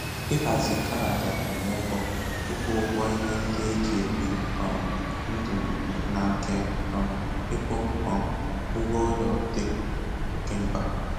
Ịhazi kaadị akwụmụgwọ, ịkwụ ụgwọ ihe ndị eji ebi um ndụ na nke um ịkwụ um ụgwọ ụlọ dị oké mkpa.